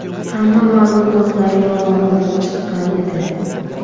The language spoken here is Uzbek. Hamma ma’lumotlar yolg‘on bo‘lib chiqqan edi.